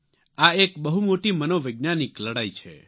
આ એક બહુ મોટી મનોવૈજ્ઞાનિક લડાઇ છે